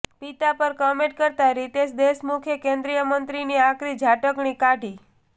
પિતા પર કમેન્ટ કરતા રિતેશ દેશમુખે કેન્દ્રીય મંત્રીની આકરી ઝાટકણી કાઢી